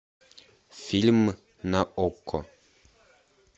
фильм на окко